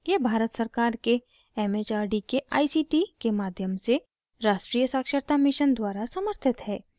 यह भारत सरकार के it it आर डी के आई सी टी के माध्यम से राष्ट्रीय साक्षरता mission द्वारा समर्थित है